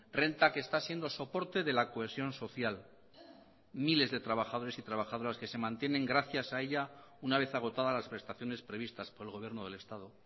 renta que está siendo soporte de la cohesión social miles de trabajadores y trabajadoras que se mantienen gracias a ella una vez agotada las prestaciones previstas por el gobierno del estado